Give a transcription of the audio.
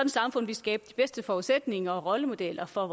samfund ville skabe de bedste forudsætninger og rollemodeller for